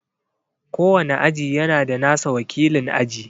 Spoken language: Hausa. Kowane aji yana da nasa wakilin aji.